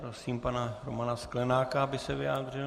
Prosím pana Romana Sklenáka, aby se vyjádřil.